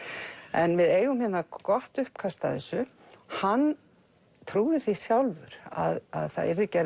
en við eigum hérna gott uppkast að þessu hann trúði því sjálfur að það yrði gerð